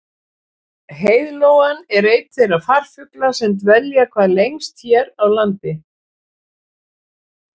Heiðlóan er einn þeirra farfugla sem dvelja hvað lengst hér á landi.